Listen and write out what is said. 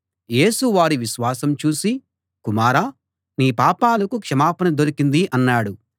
యేసు వారి విశ్వాసం చూసి కుమారా నీ పాపాలకు క్షమాపణ దొరికింది అన్నాడు